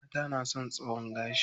Mata na son tsayon gashi.